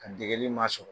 A degeli ma sɔrɔ